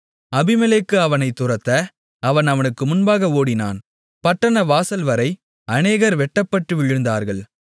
அபிமெலேக்கு அவனைத் துரத்த அவன் அவனுக்கு முன்பாக ஓடினான் பட்டணவாசல்வரை அநேகர் வெட்டப்பட்டு விழுந்தார்கள்